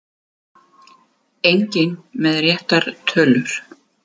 Enginn með réttar tölur